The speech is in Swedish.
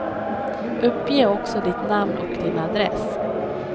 Uppge också ditt namn och din adress.